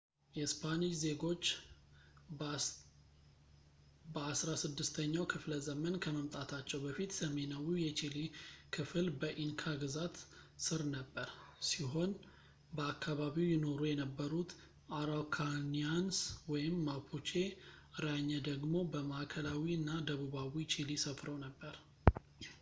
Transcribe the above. የስፓኒሽ ዜጉች በአስራስድስተኛው ክፍለ ዘመን ከመምጣታቸው በፊት፣ ሰሜናዊው የቺሊ ክፍል በኢንካ ግዛት ስር ነበር ሲሆን በአካባቢው ይኖሩ የነበሩት araucanians mapucheራኘ ደግሞ በማዕከላዊ አና ደቡባዊ ቺሊ ሰፍረው ነበር